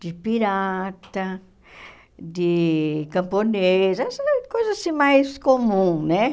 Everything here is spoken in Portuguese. De pirata, de camponês, essas coisas assim mais comuns, né?